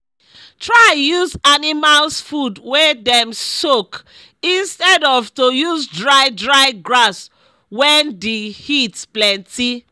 try use animals food wey dem soak instead of to use dry dry grass wen d heat plenty